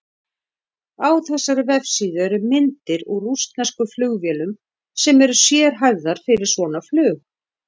Á þessari vefsíðu eru myndir úr rússneskum flugvélum sem eru sérhæfðar fyrir svona flug.